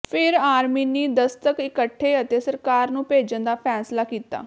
ਫਿਰ ਆਰਮੀਨੀ ਦਸਤਖਤ ਇਕੱਠੇ ਅਤੇ ਸਰਕਾਰ ਨੂੰ ਭੇਜਣ ਦਾ ਫ਼ੈਸਲਾ ਕੀਤਾ